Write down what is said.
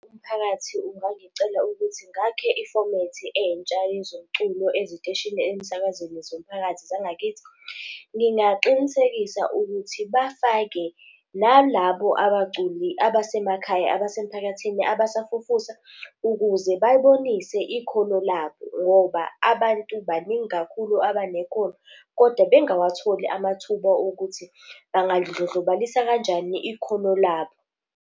Umphakathi ungangicela ukuthi ngakhe ifomethi entsha yezomculo eziteshini emsakazweni zomphakathi zangakithi. Ngingaqinisekisa ukuthi bafake nalabo abaculi abasemakhaya, abasemphakathini, abasafufusa ukuze bayibonise ikhono labo, ngoba abantu baningi kakhulu abanekhono kodwa bengawatholi amathuba okuthi bangadlondlobalisa kanjani ikhono labo.